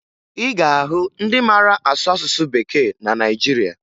Ị ga-ahụ ndị mara asụ asụsụ Bekee na Naịjirịa